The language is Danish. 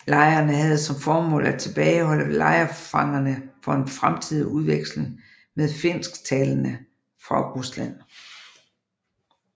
Lejrene havde som formål at tilbageholde lejrfangerne for en fremtidig udveksling med finsktalende fra Rusland